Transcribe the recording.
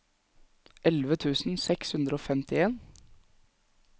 elleve tusen seks hundre og femtien